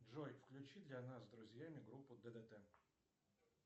джой включи для нас с друзьями группу ддт